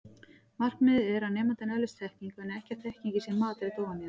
Markmiðið er að nemandinn öðlist þekkingu en ekki að þekkingin sé matreidd ofan í hann.